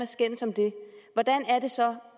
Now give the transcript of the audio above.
skændes om det